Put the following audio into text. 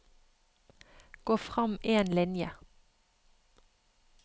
Gå frem én linje